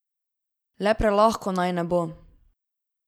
Le prelahko naj ne bo.